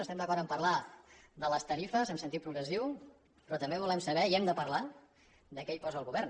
estem d’acord a parlar de les tarifes en sentit progressiu però també volem saber i hem de parlar de què hi posa el govern